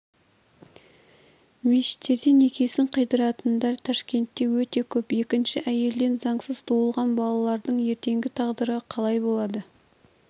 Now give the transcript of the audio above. мешіттерде некесін қидыратындар ташкентте өте көп екінші әйелден заңсыз туылған балалардың ертеңгі тағдыры қалай болады